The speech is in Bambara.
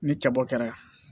Ni cɛba kɛra